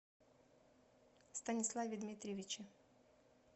станиславе дмитриевиче